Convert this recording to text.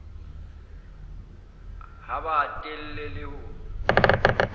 ha ba hatelle le ho